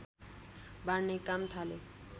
बाँड्ने काम थाले